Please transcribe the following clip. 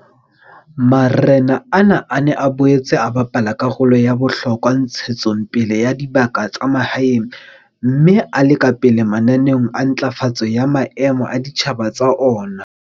Marena ana a ne a boetse a bapala karolo ya bohlokwa ntshetsong pele ya dibaka tsa mahaeng mme a le ka pele mananeong a ntlafatso ya maemo a ditjhaba tsa ona.